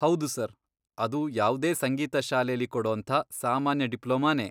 ಹೌದು ಸರ್. ಅದು ಯಾವ್ದೇ ಸಂಗೀತ ಶಾಲೆಲಿ ಕೊಡೋಂಥ ಸಾಮಾನ್ಯ ಡಿಪ್ಲೊಮಾನೇ.